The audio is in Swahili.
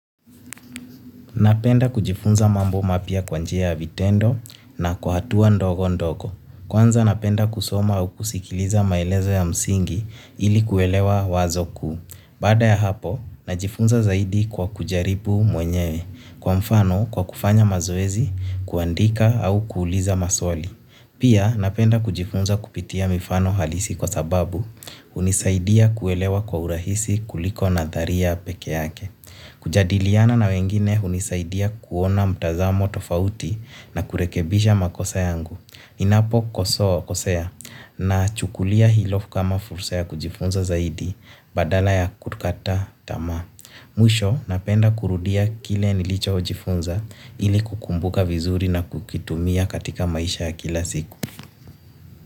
Napenda kujifunza mambo mapya kwa njia ya vitendo na kwa hatua ndogo ndogo. Kwanza napenda kusoma au kusikiliza maelezo ya msingi ili kuelewa wazo kuu. Baada ya hapo, najifunza zaidi kwa kujaribu mwenyewe. Kwa mfano, kwa kufanya mazoezi, kuandika au kuuliza maswali. Pia napenda kujifunza kupitia mifano halisi kwasababu hunisaidia kuelewa kwa urahisi kuliko nadharia peke yake. Kujadiliana na wengine hunisaidia kuona mtazamo tofauti na kurekebisha makosa yangu. Ninapokosea, nachukulia hilo kama fursa ya kujifunza zaidi badala ya kukata tamaa. Mwisho napenda kurudia kile nilichojifunza ili kukumbuka vizuri na kukitumia katika maisha ya kila siku.